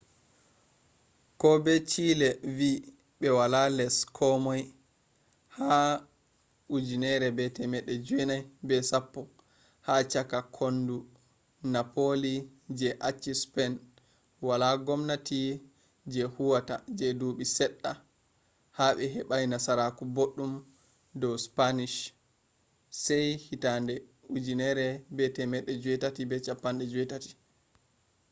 ko be chile vi be wala les komoi ha 1810 ha chaka kondu napoli je acci spain wala gwamnati je huwata je duubi sedda be hebai nasaraku boddum do spanish se 1818